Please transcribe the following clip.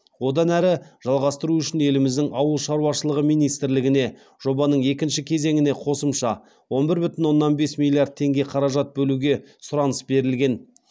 одан әрі жалғастыру үшін еліміздің ауыл шаруашылығы министрлігіне жобаның екінші кезеңіне қосымша он бір бүтін оннан бес миллиард теңге қаражат бөлуге сұраныс берілген